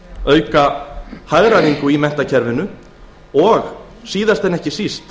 auka hagræðingu í menntakerfinu og síðast en ekki síst